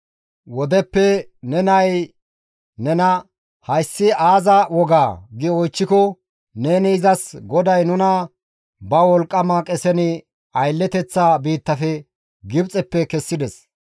Wodeppe ne nay nena, ‹Hayssi aaza wogaa?› gi oychchiko, neni izas, ‹GODAY nuna ba wolqqama qesen aylleteththa biitta Gibxeppe kessides;